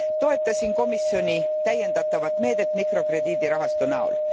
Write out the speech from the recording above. Toetasin komisjoni täiendatavat meedet mikrokrediidirahastu näol.